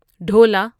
ڈھولا ঢোল